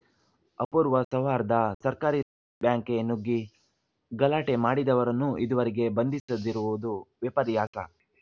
ಅಪೂರ್ವ ಸೌಹಾರ್ಧ ಸರ್ಕಾರಿ ಬ್ಯಾಂಕ್‌ಗೆ ನುಗ್ಗಿ ಗಲಾಟೆ ಮಾಡಿದವರನ್ನೂ ಇದುವರೆಗೆ ಬಂಧಿಸದಿರುವುದು ವಿಪರ್ಯಾಸ